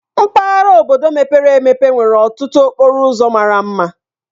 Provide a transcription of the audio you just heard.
Mpaghara obodo mepere emepe nwere ọtụtụ okporo ụzọ mara mma.